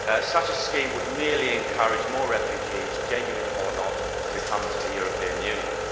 Such a scheme would merely encourage more refugees, genuine or not, to come to the European Union.